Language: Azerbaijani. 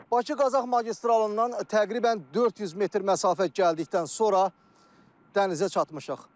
Bakı-Qazax magistralından təqribən 400 metr məsafə gəldikdən sonra dənizə çatmışıq.